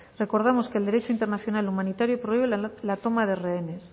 recordamos que el derecho internacional humanitario prohíbe la toma de rehenes